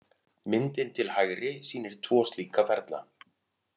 Myndin til hægri sýnir tvo slíka ferla.